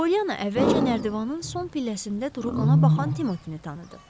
Polyana əvvəlcə nərdivanın son pilləsində durub ona baxan Timotini tanıdı.